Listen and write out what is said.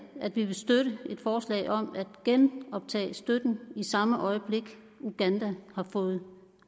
at vi vil støtte et forslag om at genoptage støtten i samme øjeblik uganda har fået